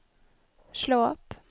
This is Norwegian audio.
slå opp